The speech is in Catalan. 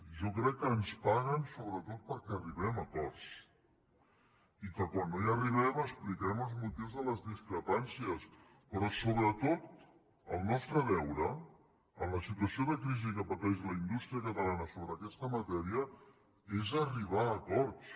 jo crec que ens paguen sobretot perquè arribem a acords i que quan no hi arribem expliquem els motius de les discrepàncies però sobretot el nostre deure en la situació de crisi que pateix la indústria catalana sobre aquesta matèria és arribar a acords